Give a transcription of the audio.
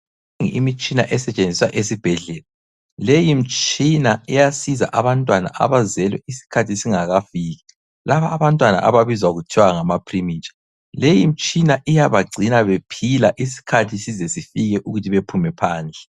Imitshina esetshenziswa esibhedlela. Leyi mtshina iyasiza abantwana abazelwe isikhathi singakafiki, laba abantwana ababizwa kuthiwa ngamapre- mature. Leyi imitshina iyabagcina bephila isikhathi size sifike ukuthi bephume phandle.